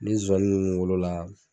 Ni zozani ninnu wolo la.